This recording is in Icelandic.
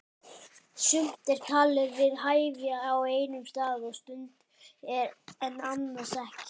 Sumt er talið við hæfi á einum stað og stund en annars ekki.